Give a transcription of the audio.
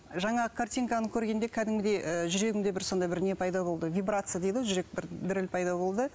жаңағы картинканы көргенде кәдімгідей ы жүрегімде сондай бір не пайда болды вибрация дейді ғой жүрек бір діріл пайда болды